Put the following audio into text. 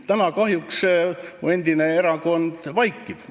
Täna mu endine erakond kahjuks vaikib.